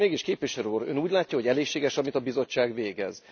Mégis, Képviselő Úr, Ön úgy látja, hogy elégséges, amit a bizottság végez?